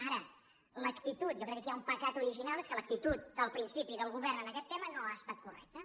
ara l’actitud jo crec que aquí hi ha un pecat original que és que l’actitud del principi del govern en aquest tema no ha estat correcte